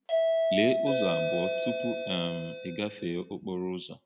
Lee ụzọ abụọ tupu um i gafee okporo ụzọ.